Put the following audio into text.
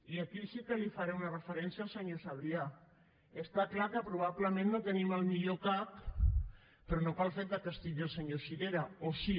i aquí sí que li faré una referència al senyor sabrià està clar que probablement no tenim el millor cac però no pel fet que hi sigui el senyor sirera o sí